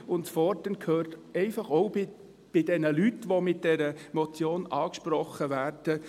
Das Fordern gehört einfach auch bei diesen Leuten dazu, die mit dieser Motion angesprochen werden.